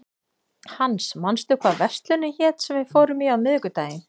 Hans, manstu hvað verslunin hét sem við fórum í á miðvikudaginn?